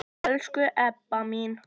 Elsku Ebba mín.